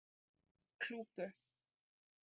Klúku